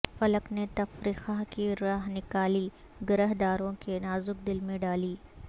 فلک نے تفرقہ کی رہ نکالی گرہ دارو کے نازک دل میں ڈالی